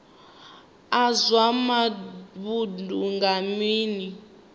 a zwa vhudzulo nga nila